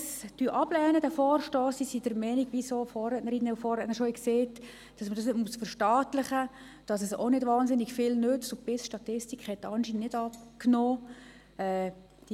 Wer diesen Vorstoss ablehnt, ist der Meinung, wie es auch schon Vorrednerinnen und Vorredner gesagt haben, dass man das nicht verstaatlichen muss, dass es auch nicht wahnsinnig viel nützt und dass die BissStatistik anscheinend nicht abgenommen hat.